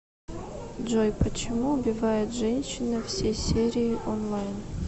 джой почему убивает женщина все серии онлайн